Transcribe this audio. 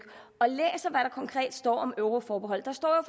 og konkret står om euroforbeholdet der står